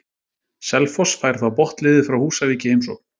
Selfoss fær þá botnliðið frá Húsavík í heimsókn.